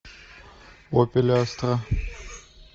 опель астра